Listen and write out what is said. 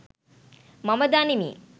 මම දනිමි.